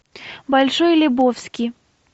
большой лебовски